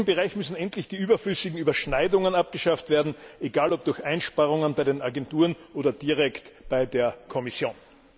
In diesem Bereich müssen endlich die überflüssigen Überschneidungen abgeschafft werden egal ob durch Einsparungen bei den Agenturen oder direkt bei der Kommission.